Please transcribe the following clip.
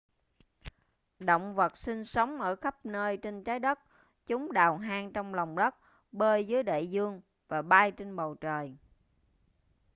động vật sinh sống ở khắp nơi trên trái đất chúng đào hang trong lòng đất bơi dưới đại dương và bay trên bầu trời